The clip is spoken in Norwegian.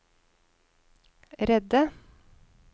redde